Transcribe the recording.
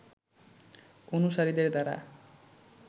অনুসারীদের দ্বারা